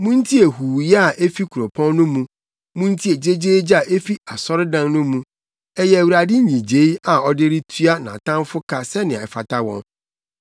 Muntie huuyɛ a efi kuropɔn no mu, muntie gyegyeegye a efi asɔredan no mu! Ɛyɛ Awurade nnyigyei a ɔde retua nʼatamfo ka sɛnea ɛfata wɔn.